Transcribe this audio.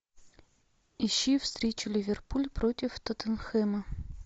ищи встречу ливерпуль против тоттенхэма